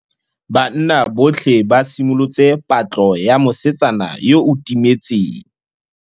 Banna botlhê ba simolotse patlô ya mosetsana yo o timetseng.